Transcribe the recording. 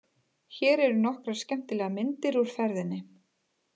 Hér eru nokkrar skemmtilegar myndir úr ferðinni.